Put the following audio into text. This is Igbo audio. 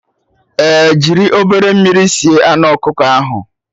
Ee, jiri obere mmiri sie anụ ọkụkọ ahụ